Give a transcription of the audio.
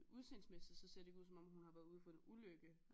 Udseendesmæssigt så ser det ikke ud som om hun har været ude for en ulykke